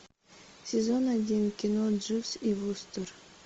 сезон один кино дживс и вустер